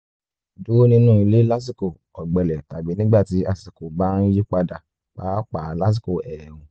dúró nínú ilé lásìkò ọ̀gbẹlẹ̀ tàbí nígbà tí àsìkò bá ń yí padà pàápàá lásìkò ẹ̀ẹ̀rùn